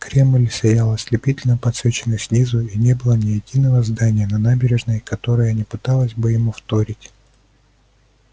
кремль сиял ослепительно подсвеченный снизу и не было ни единого здания на набережной которое не пыталось бы ему вторить